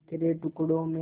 बिखरे टुकड़ों में